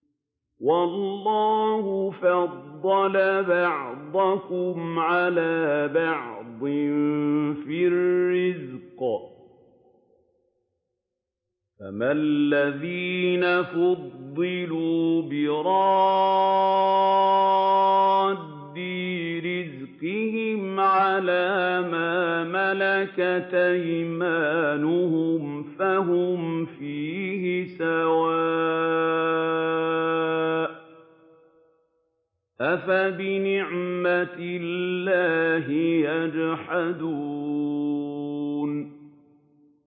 وَاللَّهُ فَضَّلَ بَعْضَكُمْ عَلَىٰ بَعْضٍ فِي الرِّزْقِ ۚ فَمَا الَّذِينَ فُضِّلُوا بِرَادِّي رِزْقِهِمْ عَلَىٰ مَا مَلَكَتْ أَيْمَانُهُمْ فَهُمْ فِيهِ سَوَاءٌ ۚ أَفَبِنِعْمَةِ اللَّهِ يَجْحَدُونَ